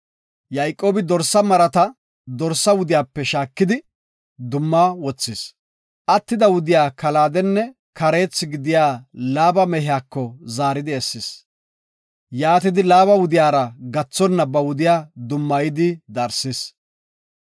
Yayqoobi deesha maratanne dorsa wudiyape shaakidi dumma wothis. Attida wudiya kalaadenne kareethi gidiya Laaba mehiyako zaaridi essis. Yaatidi Laaba wudiyara gathonna ba wudiya dummayidi darsis.